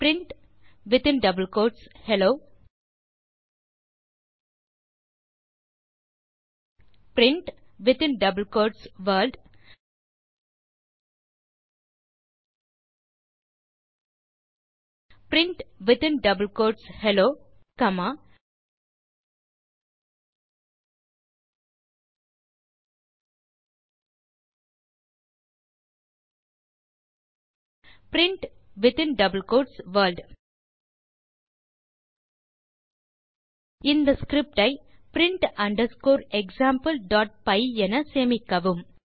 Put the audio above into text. print hello print world print hello comma print world இந்த script ஐ print underscore exampleபை என சேமிக்கவும்